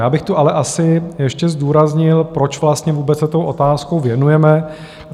Já bych tu ale asi ještě zdůraznil, proč vlastně vůbec se té otázce věnujeme.